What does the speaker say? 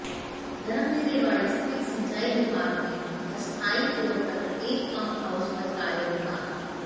धर्मबीर रेवाड़ी स्थित सिंचाई विभाग में अस्थायी तौर पर एक पंप हाउस पर कार्यरत था